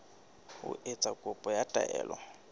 ho etsa kopo ya taelo